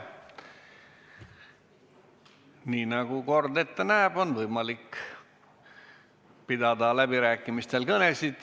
Nii nagu kord ette näeb, on võimalik läbirääkimistel pidada kõnesid.